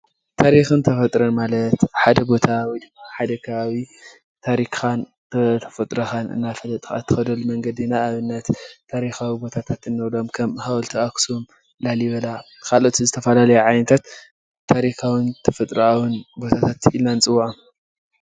ታሪክን ተፈጥሮን ማለት ሓደ ቦታ ወይ ድማ ሓደ ከባቢ ታሪካን ተፈጥሮካን እንዳፈለጥካ እትኸደሉ መንገዲ ንኣብነት ታሪኻዊ ቦታታት እንብሎም ከም ሓወልቲ ኣኸሱም ላሊበላን ካልኦት ዝተፈላለዩ ቦታታት ዓይነታት ታሪካውን ተፈጥረኣውን ቦታታት ኢልና ንፅዎዖም።